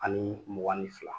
Ani mugan ni fila